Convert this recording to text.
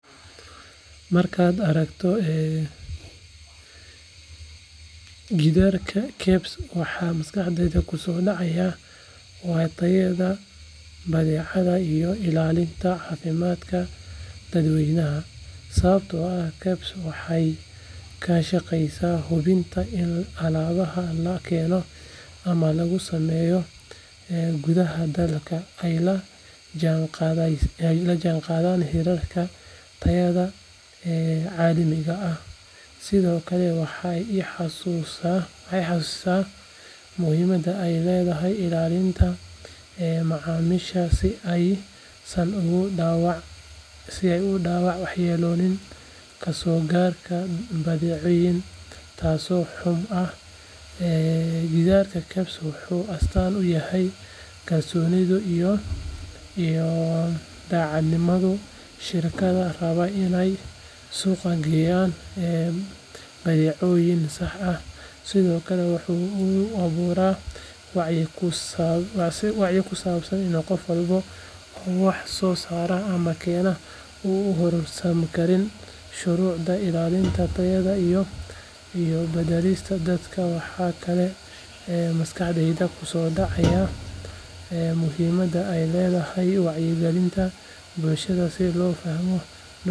Markaan arko gidaarka KEBS waxa maskaxdayda kusoo dhacaya waa tayada badeecadaha iyo ilaalinta caafimaadka dadweynaha sababtoo ah KEBS waxay ka shaqaysaa hubinta in alaabaha laga keeno ama lagu sameeyo gudaha dalka ay la jaanqaadayaan heerarka tayada caalamiga ah sidoo kale waxay i xasuusisaa muhiimadda ay leedahay ilaalinta macaamiisha si aysan ugu dhacaan waxyeello kasoo gaadha badeeco tayo xumo ah gidaarka KEBS wuxuu astaan u yahay kalsoonida iyo daacadnimada shirkadaha raba inay suuq geeyaan badeecooyin sax ah sidoo kale waxa uu igu abuuraa wacyi ku saabsan in qof walba oo wax soo saara ama keena uu u hoggaansamo shuruucda ilaalinta tayada iyo badbaadada dadka waxa kaloo maskaxdayda kusoo dhacaya muhiimadda ay leedahay wacyigelinta bulshada si loo fahmo doorka KEBS.